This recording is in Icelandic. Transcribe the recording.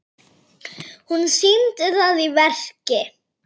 Hún sýndi það í verki.